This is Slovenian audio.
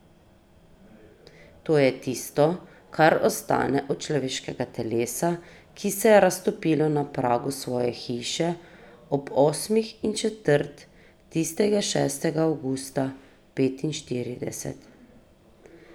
To je tisto, kar ostane od človeškega telesa, ki se je raztopilo na pragu svoje hiše ob osmih in četrt tistega šestega avgusta petinštirideset ...